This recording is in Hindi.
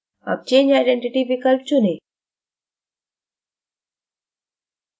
अब change identity विकल्प चुनें